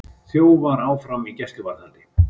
Þjófar áfram í gæsluvarðhaldi